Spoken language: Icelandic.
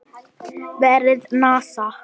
Vefsíða NASA.